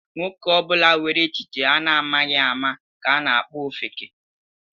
Nwoke ọbụla nwere echiche a na-amaghị ama ka a na-akpọ ofeke.